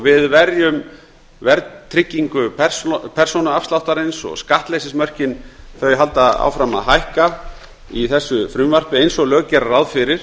við verjum verðtryggingu persónuafsláttarins og skattleysismörkin halda áfram að hækka í þessu frumvarpi eins og lög gera ráð fyrir